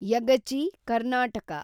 Yagachi, Karnataka